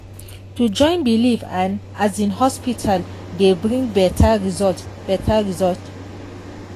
to join belief and um hospital dey bring better result. better result.